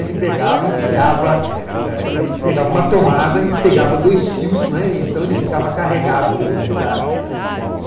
ele pegava e enfiava, eh ele pegava uma tomada e pegava dois fios, né e então ele ficava carregado de eletricidade, né.